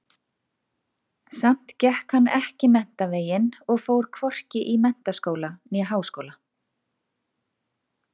Samt gekk hann ekki menntaveginn og fór hvorki í menntaskóla né háskóla.